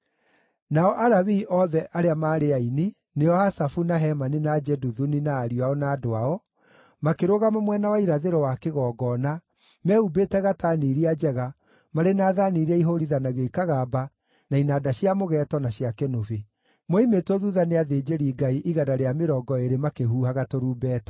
Nao Alawii othe arĩa maarĩ aini, nĩo Asafu, na Hemani na Jeduthuni na ariũ ao na andũ ao, makĩrũgama mwena wa irathĩro wa kĩgongona, mehumbĩte gatani iria njega, marĩ na thaani iria ihũũrithanagio ikagamba, na inanda cia mũgeeto, na cia kĩnũbi. Moimĩtwo thuutha nĩ athĩnjĩri-Ngai 120 makĩhuhaga tũrumbeta.